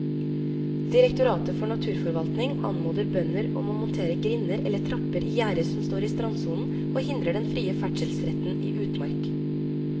Direktoratet for naturforvaltning anmoder bønder om å montere grinder eller trapper i gjerder som står i strandsonen og hindrer den frie ferdselsretten i utmark.